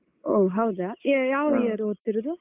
ಓ ಹೌದಾ. ಆ ಯಾವ್ year ಓದ್ತಿರುದು?